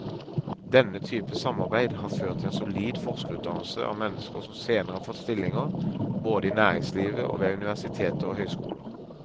Denne type samarbeid har ført til en solid forskerutdannelse av mennesker som senere har fått stillinger både i næringslivet og ved universiteter og høyskoler.